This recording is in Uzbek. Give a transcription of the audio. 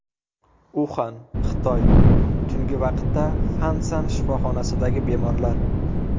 Uxan, Xitoy Tungi vaqtda Fansan shifoxonasidagi bemorlar.